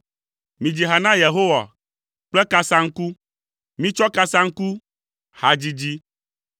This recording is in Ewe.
Midzi ha na Yehowa kple kasaŋku, mitsɔ kasaŋku, hadzidzi,